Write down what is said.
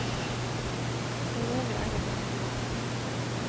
Forøvrig er jeg den jeg er.